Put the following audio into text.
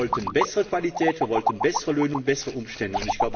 Wir wollten bessere Qualität, wir wollten bessere Löhne und bessere Umstände.